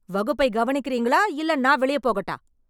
வகுப்பை கவனிக்கறீங்களா... இல்ல நான் வெளியே போகட்டா?